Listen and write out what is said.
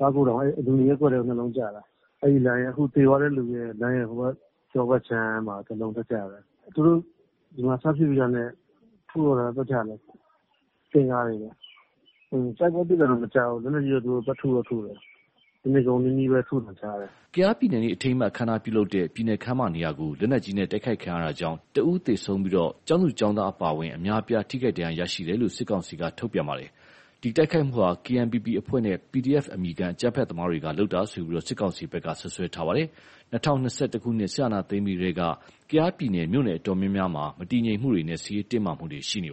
ကားဂိုဒေါင် အဲ့လူနေရပ်ကွက်ထဲကို ၂လုံးကျတာ အဲ့ဒီလမ်းနဲ့ အခုသေသွားတဲ့လူရဲ့ လမ်းရယ် ဟိုဘက် ကျောဘက်ခြမ်းမှာ တစ်ယောက်လုံးထပ်ကျတယ်။ သူတို့ ဒီမှာစဖြစ်ပြီးတာနဲ့ ထုတော့တာ ပတ်ချာလည် တင့်ကားတွေနဲ့ တိုက်ပွဲဖြစ်တာတော့ မကြားဘူး လက်နက်ကြီးတော့ သူတို့ ထုတော့ထုတယ် တစ်နေ့ကုန်နီးနီးပဲ ထုသံကြားတယ်။” ကယားပြည်နယ်နေ့အထိမ်းအမှတ် အခမ်းအနားပြုလုပ်တဲ့ ပြည်နယ်ခန်းမနေရာကို လက်နက်ကြီးနဲ့ တိုက်ခိုက်ခံရတာကြောင့် တဦးသေဆုံးပြီး ကျောင်းသူကျောင်းသားအပါအဝင် အများအပြားဒဏ်ရရှိကြောင်း စစ်ကောင်စီက ထုတ်ပြန်ပါတယ်။ ဒီတိုက်ခိုက်မှုဟာ KNPP အဖွဲ့နဲ့ PDF အမည်ခံအကြမ်းဖက်သမားတွေက လုပ်တယ်လို့ စစ်ကောင်စီဖက်က စွပ်စွဲထားပါတယ်။ ၂၀၂၁ခုနှစ် စစ်အာဏာသိမ်းပြီးကတည်းက ကယားပြည်နယ် မြို့နယ်အတော်များများမှာ မတည်ငြိမ်မှုတွေနဲ့ စစ်ရေးတင်းမှာမှုတွေရှိနေတာပါ